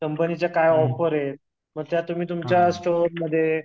कंपनीच्या काय ऑफर आहेत? म त्या तुम्ही तुमच्या स्टोरमध्ये